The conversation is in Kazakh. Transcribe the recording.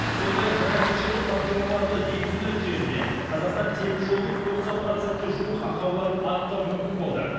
сондай ақ жаңа кешенді бағдарламаларды енгізу нәтижесінде қазақстан темір жолының тоқсан процентке жуық ақауларын анықтау мүмкін болды